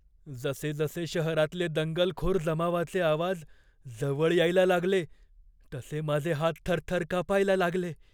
जसेजसे शहरातले दंगलखोर जमावाचे आवाज जवळ यायला लागले तसे माझे हात थरथर कापायला लागले.